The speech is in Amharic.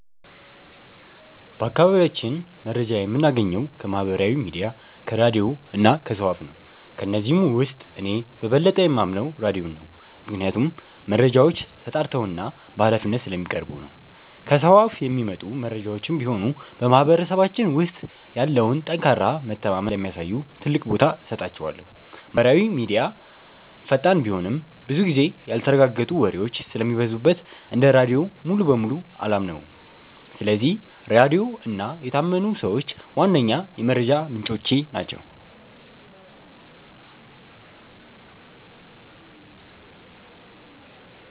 በአካባቢያችን መረጃ የምናገኘው ከማህበራዊ ሚዲያ፣ ከራድዮ እና ከሰው አፍ ነው። ከነዚህም ውስጥ እኔ በበለጠ የማምነው ራድዮን ነው፤ ምክንያቱም መረጃዎች ተጣርተውና በሃላፊነት ስለሚቀርቡ ነው። ከሰው አፍ የሚመጡ መረጃዎችም ቢሆኑ በማህበረሰባችን ውስጥ ያለውን ጠንካራ መተማመን ስለሚያሳዩ ትልቅ ቦታ እሰጣቸዋለሁ። ማህበራዊ ሚዲያ ፈጣን ቢሆንም፣ ብዙ ጊዜ ያልተረጋገጡ ወሬዎች ስለሚበዙበት እንደ ራድዮ ሙሉ በሙሉ አላምነውም። ስለዚህ ራድዮ እና የታመኑ ሰዎች ዋነኛ የመረጃ ምንጮቼ ናቸው።